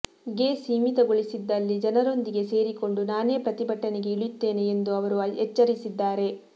ಗೆ ಸೀಮಿತಗೊಳಿಸಿದಲ್ಲಿ ಜನರೊಂದಿಗೆ ಸೇರಿಕೊಂಡು ನಾನೇ ಪ್ರತಿಭಟನೆಗೆ ಇಳಿಯುತ್ತೇನೆ ಎಂದು ಅವರು ಎಚ್ಚರಿಸಿದ್ದಾರೆ